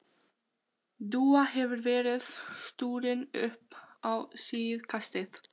Dúa hefur verið stúrin upp á síðkastið.